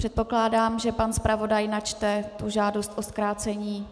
Předpokládám, že pan zpravodaj načte tu žádost o zkrácení